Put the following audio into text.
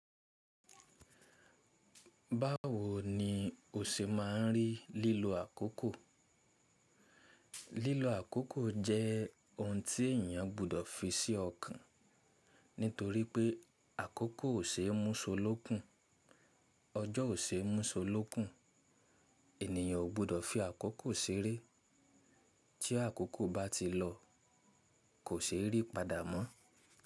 Báwo ni o ṣe máa ń rí lílo àkókò? Lílo àkókò jẹ́ ohun tí èyàn gbọdọ̀ fi sí ọkàn, nítorí pé àkókò ò ṣe é mú solókun, ọjọ́ ò ṣe é mú solókun. Ènìyàn o gbọdọ̀ fi àkókò ṣeré tí àkókò bá ti lọ kò ṣe é rí padà mọ́.